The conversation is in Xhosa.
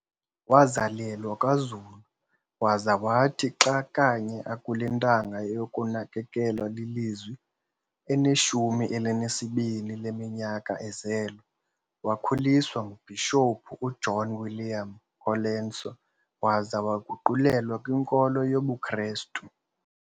Wazalelwa kwaZulu, waza wathi xa kanye akule ntanga yokunakekelwa lilizwi, eneshumi elinesibini leminyaka ezelwe, wakhuliswa nguBhishophu u-uJohn William Colenso waza waguqulelwa kwinkolo yobuKrestu.